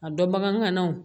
A dɔn bagan ŋana o